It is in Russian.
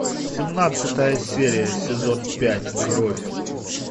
семнадцатая серия сезон пять кровь